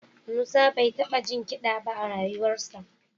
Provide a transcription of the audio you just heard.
Musa bai taɓa jin kiɗa ba a rayuwarsa